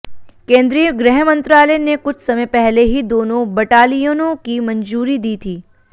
केंद्रीय गृह मंत्रालय ने कुछ समय पहले ही दोनों बटालियनों की मंजूरी दी थी